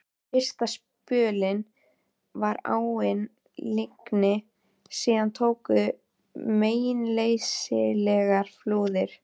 Fyrsta spölinn var áin lygn, síðan tóku við meinleysislegar flúðir.